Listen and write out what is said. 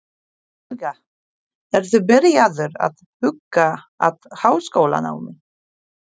Helga: Ertu byrjaður að huga að háskólanámi?